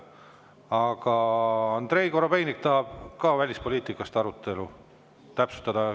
Aga Andrei Korobeinik tahab ka välispoliitika arutelu täpsustada.